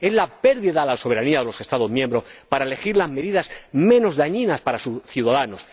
Es la pérdida de la soberanía de los Estados miembros para elegir las medidas menos dañinas para sus ciudadanos.